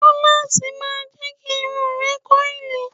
Rólásì ma jẹ́ kí irun ẹ kọ́ìlì